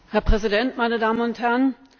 Herr Präsident, meine Damen und Herren!